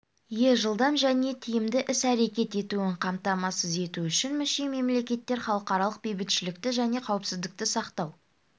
ие жылдам және тиімді іс-әрекет етуін қамтамасыз ету үшін мүше-мемлекеттер халықаралық бейбітшілікті және қауіпсіздікті сақтау